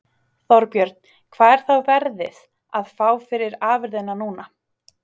Þorbjörn: Hvað er þá verðið, að fá fyrir afurðina núna?